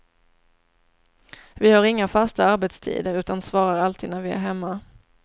Vi har inga fasta arbetstider utan svarar alltid när vi är hemma.